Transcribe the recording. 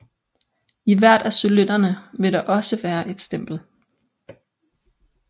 I hvert af cylinderne vil der også være et stempel